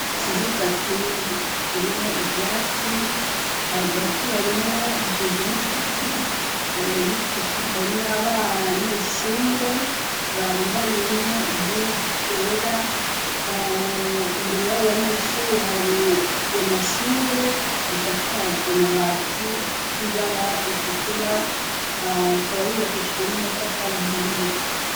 Ikibuga kini kirimo ivyatsi hagati harimo shinzen'igiti ni co tudhrme aba neshure bandanyemo imyuzu zera imbere y'abo banyeshure hariyo amashure asakarzanabati ibara isutura kaba yubakeshejwe n'amatakarahimde.